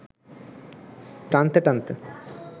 টানতে টানতে